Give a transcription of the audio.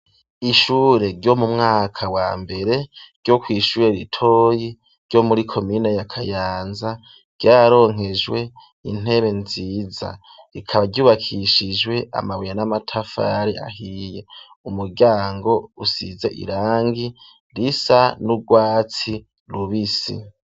Ishure ryo mu mwaka wa mbere ryo kw'ishure ritoyi ryo muri komine ya Kayanza ryaronkejwe intebe nziza, rikaba ryubakishijwe amabuye n'amatafari ahiye, umuryango usize irangi risa n'urwatsi rubisi.